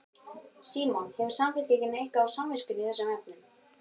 Símon: Hefur Samfylkingin eitthvað á samviskunni í þessum efnum?